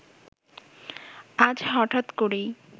আজ হঠাৎ করেই